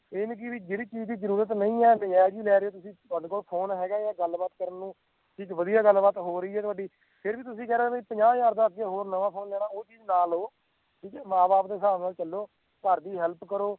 ਇਹੋ ਜੀ ਵੀ ਜਿਹੜੀ ਚੀਜ਼ ਦੀ ਜਰੂਰਤ ਨਹੀਂ ਹੈ ਨਜਾਇਜ਼ ਹੀ ਲੈ ਰਹੇ ਓਂ ਤੁਸੀਂ ਤੁਹਾਡੇ ਕੋਲ phone ਹੈਗਾ ਆ ਗਲਬਾਤ ਕਰਨ ਨੂੰ ਵਧੀਆ ਗਲਬਾਤ ਹੋ ਰਹੀ ਹੈ ਤੁਹਾਡੀ ਫੇਰ ਵੀ ਤੁਸੀਂ ਕਹਿ ਰਹੇ ਓਂ ਵੀ ਪੰਜਾਹ ਹਜ਼ਾਰ ਦਾ ਅੱਗੇ ਹੋਰ ਨਵਾਂ phone ਲੈਣਾ ਆ ਉਹ ਚੀਜ਼ ਨਾ ਲਓ ਠੀਕ ਐ ਮਾਂ ਬਾਪ ਦੇ ਹਿਸਾਬ ਨਾਲ ਚਲੋ ਘਰ ਦੀ help ਕਰੋ